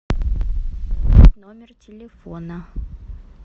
номер телефона